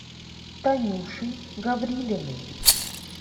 танюшей гаврилиной